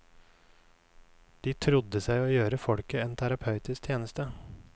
De trodde seg å gjøre folket en terapeutisk tjeneste.